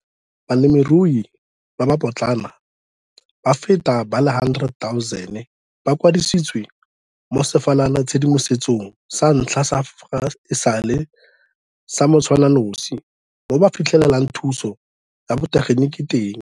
Balemirui ba ba potlana ba feta ba le 100 000 ba kwadisitswe mo sefalanatshedimosetsong sa ntlha sa fa e sale sa motshwananosi mo ba fitlhelelang thuso ya botegeniki teng.